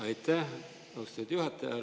Aitäh, austatud juhataja!